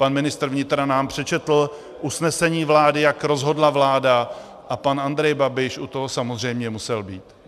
Pan ministr vnitra nám přečetl usnesení vlády, jak rozhodla vláda, a pan Andrej Babiš u toho samozřejmě musel být.